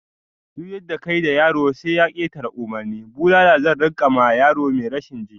Duk yadda kayi da yaro sai ya ketare umurni, bulala zan rika ma yaro mai rashin ji